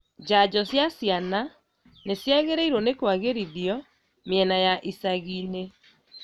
Njanjo cia ciana nĩciagĩrĩirwo nĩ kwagĩrithio mĩena ya icagi-inĩ